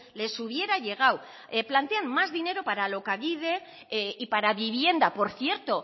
les hubiera llegado plantean más dinero para alokabide y para vivienda por cierto